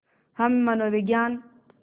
हम मनोविज्ञान